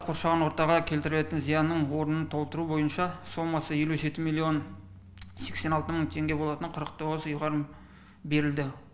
қоршаған ортаға келтірілетін зиянның орнын толтыру бойынша сомасы елу жеті миллион сексен алты мың теңге болатын қырық тоғыз ұйғарым берілді